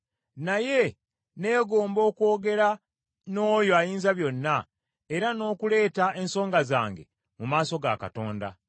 Naye neegomba okwogera n’oyo Ayinzabyonna, era n’okuleeta ensonga zange mu maaso ga Katonda.